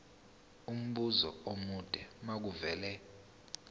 umbuzo omude makuvele